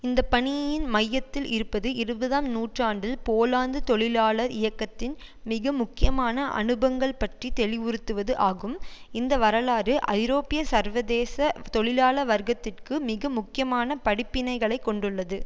இந்த பணியின் மையத்தில் இருப்பது இருபதாம் நூற்றாண்டில் போலாந்து தொழிலாளர் இயக்கத்தின் மிக முக்கியமான அனுபங்கள் பற்றி தெளிவுறுத்துவது ஆகும் இந்த வரலாறு ஐரோப்பிய சர்வதேச தொழிலாள வர்க்கத்திற்கு மிக முக்கியமான படிப்பினைகளை கொண்டுள்ளது